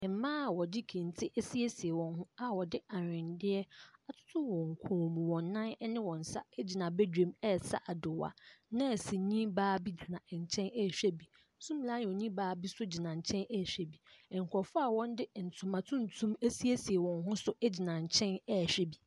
Mmaa a wɔde kente asiesie wɔn ho a aweneɛ atoto wɔn kɔn mu, wɔn nan ne wɔn nsa gyina badwam ɛresa adoa. Nɛɛseni baa bi gyina nkyɛn ɛrehwɛ bi. Zoomlionni baa bi nso gyina nkyɛn ɛrehwɛ bi. Nkurɔfoɔ a wɔde ntoma tuntum asiesie wɔn ho nso gyina nkyɛn ɛrehwɛ bi.